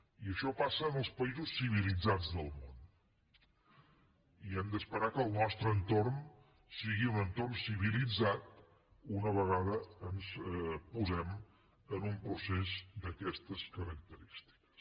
i això passa en els països civilitzats del món i hem d’esperar que el nostre entorn sigui un entorn civilitzat una vegada ens posem en un procés d’aquestes característiques